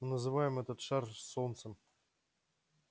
называем этот шар солнцем